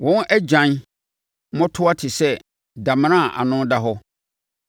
Wɔn agyan mmɔtɔwa te sɛ damena a ano da hɔ; wɔn nyinaa yɛ nnɔmmarima.